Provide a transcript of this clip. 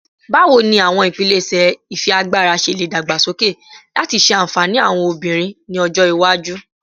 Bawo ni awọn ipilẹṣẹ ifiagbara ṣe le dagbasoke lati ṣe anfani awọn obinrin ni ọjọ iwaju?